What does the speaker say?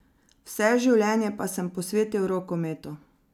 Vse življenje pa sem posvetil rokometu.